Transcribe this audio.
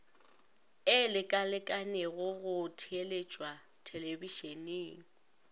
e lekalekanego go theeletšwa thelebišeneng